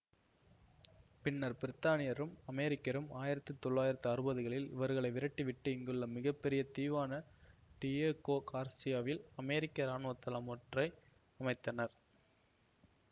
பின்னர் பிரித்தானியரும் அமெரிக்கரும் ஆயிரத்தி தொளாயிரத்தி அறுபதுகளில் இவர்களை விரட்டிவிட்டு இங்குள்ள மிக பெரிய தீவான டியேகோ கார்சியாவில் அமெரிக்க இராணுவ தளம் ஒன்றை அமைத்தனர்